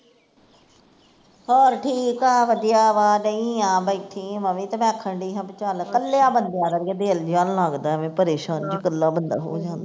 ਹੋਰ ਠੀਕ ਆ ਵਧੀਆ ਵਾਂ ਡਈ ਆ ਬੈਠੀ, ਮੈਂ ਵੀ ਤੇ ਆਖਣ ਡਈ ਸੀ ਵੀ ਚੱਲ, ਕੱਲਿਆਂ ਬੰਦਿਆ ਦਾ ਵੀ ਕੀ ਅੜੀਏ ਦਿਲ ਨੀ ਨਾ ਲੱਗਦਾ ਅਵੇ ਪਰੇਸ਼ਾਨ ਈ ਕੱਲਾ ਬੰਦਾ ਹੋ ਜਾਂਦਾ